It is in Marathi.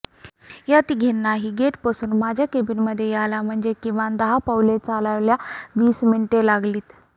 या तिघींनाही गेटपासून माझ्या केबिनमध्ये यायला म्हणजे किमान दहा पावले चालायला वीस मिनिटे लागलीत